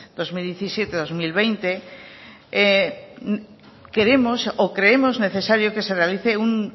dos mil diecisiete dos mil veinte queremos o creemos necesario que se realice un